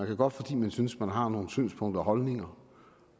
kan godt fordi man synes man har nogle synspunkter og holdninger